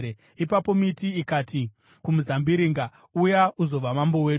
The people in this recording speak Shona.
“Ipapo miti ikati kumuzambiringa, ‘Uya uzova mambo wedu.’